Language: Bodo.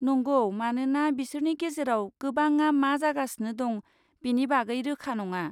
नंगौ, मानोना बिसोरनि गेजेराव गोबांआ मा जागासिनो दं बेनि बागै रोखा नङा।